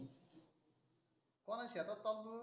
कोणाच्या शेतात चालवतो रे?